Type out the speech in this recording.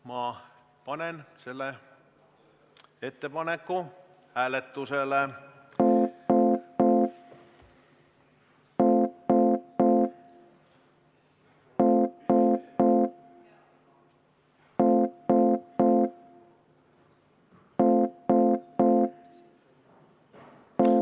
Ma panen selle ettepaneku hääletusele.